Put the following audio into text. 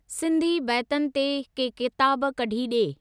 सिंधी बैतनि ते के किताब कढी डे॒।